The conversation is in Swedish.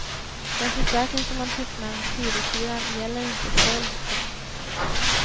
Den försäkring som man tecknar hos skiduthyraren gäller inte stöld. punkt